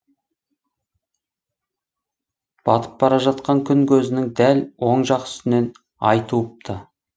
батып бара жатқан күн көзінің дәл оң жақ үстінен ай туыпты